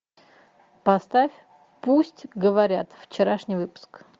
поставь пусть говорят вчерашний выпуск